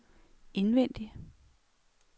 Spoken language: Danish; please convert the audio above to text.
indvendig